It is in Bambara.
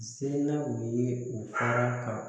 Se naw ye u fara ka